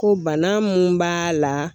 Ko bana mun b'a la